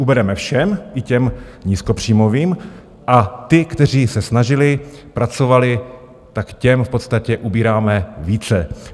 Ubereme všem, i těm nízkopříjmovým, a ti, kteří se snažili, pracovali, tak těm v podstatě ubíráme více.